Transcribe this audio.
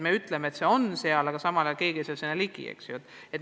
Me ütleme, et see õpe võiks olla seal, aga samal ajal paljud ei pääse sinna ligi.